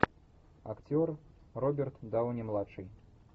актер роберт дауни младший